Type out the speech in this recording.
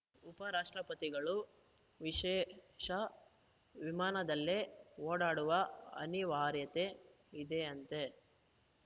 ಉಪ ರಾಷ್ಟ್ರಪತಿಗಳು ವಿಶೇಷ ವಿಮಾನದಲ್ಲೇ ಓಡಾಡುವ ಅನಿವಾರ್ಯತೆ ಇದೆಯಂತೆ